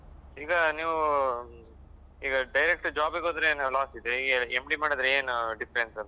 ಈಗ ನೀವೂ ಈಗ direct job ಗೆ ಹೋದ್ರೆ ಏನಾದ್ರು loss ಇದೆಯಾ MD ಮಾಡಿದ್ರೆ ಏನು difference ?